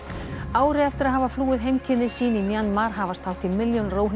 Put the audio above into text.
ári eftir að hafa flúið heimkynni sín í Mjanmar hafast hátt í milljón